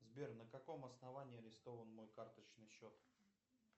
сбер на каком основании арестован мой карточный счет